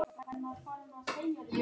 Góðan og blessaðan daginn, sagði hann.